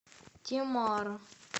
темара